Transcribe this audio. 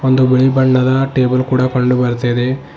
ಒಂದು ಬಿಳಿ ಬಣ್ಣದ ಟೇಬಲ್ ಕೂಡ ಕಂಡು ಬರ್ತಾ ಇದೆ.